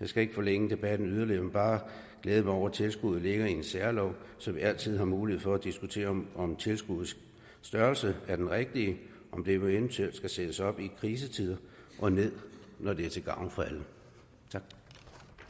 jeg skal ikke forlænge debatten yderligere men bare glæde mig over at tilskuddet ligger i en særlov så vi altid har mulighed for at diskutere om tilskuddets størrelse er den rigtige om det eventuelt skal sættes op i krisetider og ned når det er til gavn for alle